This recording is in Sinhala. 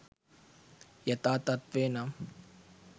යථා තත්ත්වය නම්